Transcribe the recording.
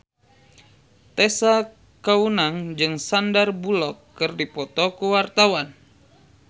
Tessa Kaunang jeung Sandar Bullock keur dipoto ku wartawan